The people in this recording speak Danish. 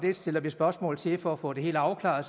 vil stille spørgsmål til for at få det helt afklaret